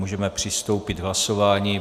Můžeme přistoupit k hlasování.